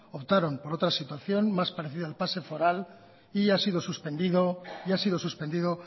optaron por otra situación más parecida al pase foral y ha sido suspendido